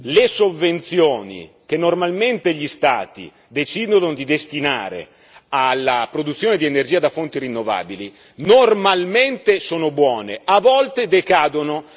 Le sovvenzioni che normalmente gli Stati decidono di destinare alla produzione di energia da fonti rinnovabili normalmente sono buone, ma volte decadono.